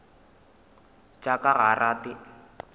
tša ka ga a rate